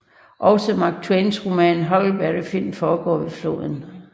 Også Mark Twains roman Huckleberry Finn foregår ved floden